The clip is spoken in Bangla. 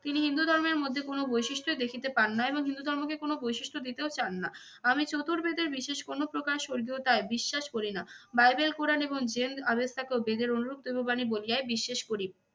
তিনি হিন্দু ধর্মের মধ্যে কোনো বৈশিষ্ট্যই দেখিতে পান না এবং হিন্দু ধর্মকে কোন বৈশিষ্ট্য দিতেও চান না। আমি চতুর্বেদের বিশেষ কোনো স্বর্গীয়তায় বিশ্বাস করি না। বাইবেল কোরান এবং জেন্দ-আবেস্তা কেও বেদের অনুরূপ দৈব বাণী বলিয়াই বিশ্বাস করি।